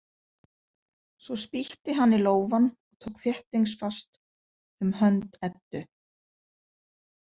Svo spýtti hann í lófann og tók þéttingsfast um hönd Eddu.